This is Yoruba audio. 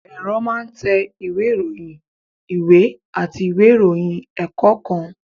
Ẹ̀rọ máa ń tẹ ìwé ìròyìn, ìwé àti ìwé ìròyìn ẹ̀kọ́ kan